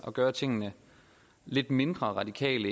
gøre tingene lidt mindre radikale